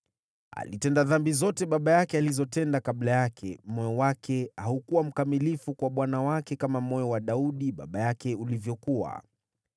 Alitenda dhambi zote baba yake alizotenda kabla yake; moyo wake haukuwa mkamilifu kwa Bwana Mungu wake kama moyo wa Daudi baba yake ulivyokuwa.